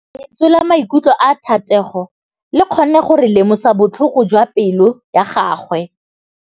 Lentswe la maikutlo a Thategô le kgonne gore re lemosa botlhoko jwa pelô ya gagwe.